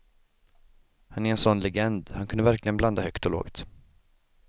Han är en sån legend, han kunde verkligen blanda högt och lågt.